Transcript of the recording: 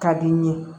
Ka di n ye